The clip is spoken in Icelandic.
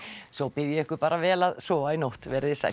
svo bið ég ykkur bara vel að sofa í nótt veriði sæl